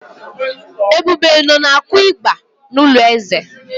Ebube nọ na-akụ ịgbà n’ụlọ eze.